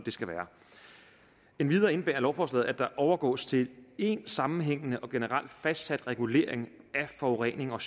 skal være endvidere indebærer lovforslaget at der overgås til én sammenhængende og generelt fastsat regulering af forurening og